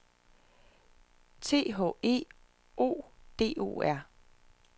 T H E O D O R